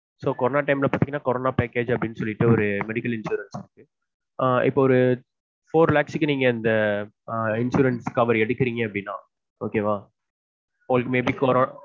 corona time ல பாத்தீங்கன்னா corona package னுஅப்டினு சொல்லீட்டு ஒரு medical insurance இருக்க ஆஹ் இப்ப ஒரு four lakhs insurance coverage எடுக்குறீங்கனா okay வா உங்களுக்கு may be கொரோனா வரப்போ